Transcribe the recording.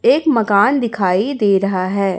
एक मकान दिखाई दे रहा है।